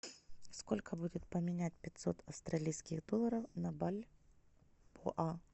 сколько будет поменять пятьсот австралийских долларов на бальбоа